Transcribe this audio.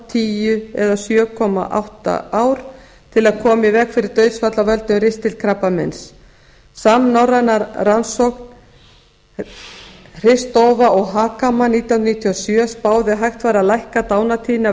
tíu og sjö komma átta ár til að koma í veg fyrir eitt dauðsfall af völdum ristilkrabbameins samnorræn rannsókn spáði að hægt væri að lækka dánartíðni af